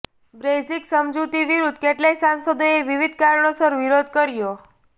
Brexit સમજૂતી વિરુદ્ધ કેટલાય સાંસદોએ વિવિધ કારણોસર વિરોધ કર્યો